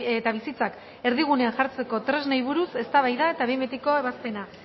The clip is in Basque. eta bizitzak erdigunean jartzeko tresnei buruz eztabaida eta behin betiko ebazpena